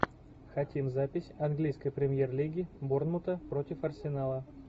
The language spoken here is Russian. хотим запись английской премьер лиги борнмута против арсенала